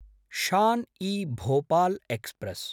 Shan-e-Bhopal express